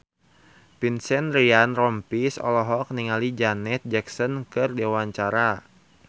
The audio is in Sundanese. Vincent Ryan Rompies olohok ningali Janet Jackson keur diwawancara